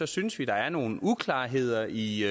synes vi der er nogle uklarheder i i